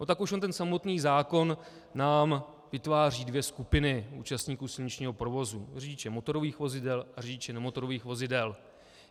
No tak už jen ten samotný zákon nám vytváří dvě skupiny účastníků silničního provozu: řidiče motorových vozidel a řidiče nemotorových vozidel.